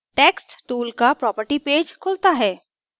text tool का property page खुलता है